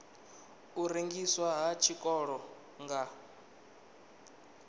u rengiswa ha tshiṱoko nga